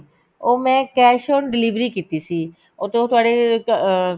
ਉਹ ਮੈਂ cash on delivery ਕੀਤੀ ਸੀ ਤੇ ਉਹ ਤੁਹਾਡੇ ਅਹ